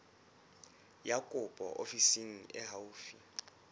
ya kopo ofising e haufi